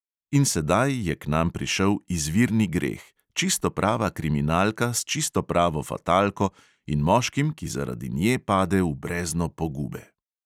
In sedaj je k nam prišel izvirni greh, čisto prava kriminalka s čisto pravo fatalko in moškim, ki zaradi nje pade v brezno pogube.